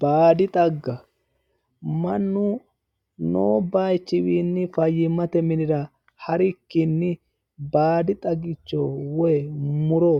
Baadi xagga, mannu no bayichinni faayyimate minira ha'rikkinni baadi xaggicho woyi muro